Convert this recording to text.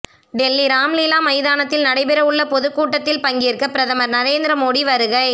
டெல்லி ராம்லீலா மைதானத்தில் நடைபெற உள்ள பொதுக்கூட்டத்தில் பங்கேற்க பிரதமர் நரேந்திர மோடி வருகை